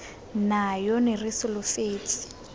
nayo re ne re solofetse